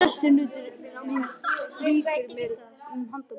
Sessunautur minn strýkur mér um handarbakið.